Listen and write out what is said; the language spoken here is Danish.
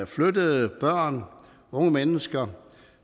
flyttede børn og unge mennesker